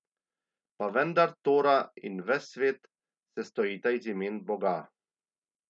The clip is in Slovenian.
Pa vendar Tora in ves svet sestojita iz imen Boga.